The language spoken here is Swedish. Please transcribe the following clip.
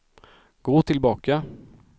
gå tillbaka